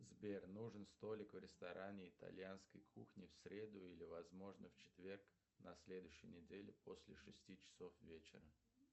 сбер нужен столик в ресторане итальянской кухни в среду или возможно в четверг на следующей неделе после шести часов вечера